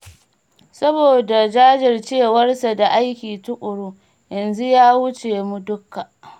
Saboda jajircewarsa da aiki tuƙuru, yanzu ya wuce mu dukka